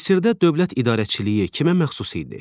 Misirdə dövlət idarəçiliyi kimə məxsus idi?